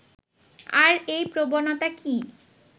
আর এই প্রবনতা কি